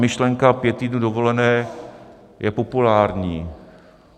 Myšlenka pěti týdnů dovolené je populární.